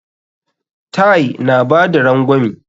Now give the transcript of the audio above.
Ty na bada rangwami.